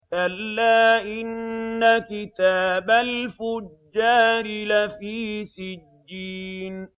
كَلَّا إِنَّ كِتَابَ الْفُجَّارِ لَفِي سِجِّينٍ